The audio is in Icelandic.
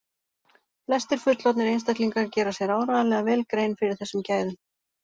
Flestir fullorðnir einstaklingar gera sér áreiðanlega vel grein fyrir þessum gæðum.